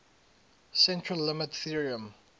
central limit theorem